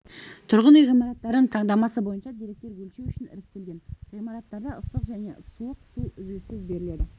тұрғын үй ғимараттарының таңдамасы бойынша деректер өлшеу үшін іріктелген ғимараттарда ыстық және суық су үзіліссіз берілді